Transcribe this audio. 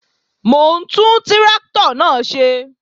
Mò ń tún tráktọ̀ náà ṣe